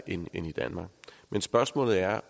end i danmark men spørgsmålet er